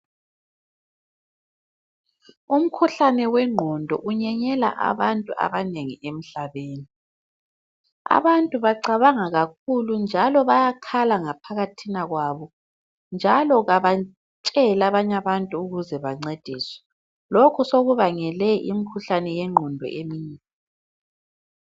Umkhuhlane wengqondo unyenyela abantu abanengi emhlabeni. Abantu bacabanga kakhulu njalo bayakhala ngaphakathina kwabo njalo kabatsheli abanye abantu ukuthi bancediswe, lokho sokubangele imikhuhlane yengqondo eminengi.